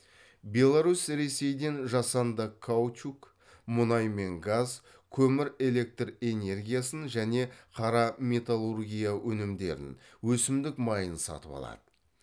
беларусь ресейден жасанды каучук мұнай мен газ көмір элект энергиясын және қара металлургия өнімдерін өсімдік майын сатып алады